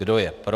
Kdo je pro?